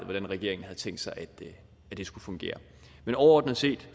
hvordan regeringen havde tænkt sig at det skulle fungere men overordnet set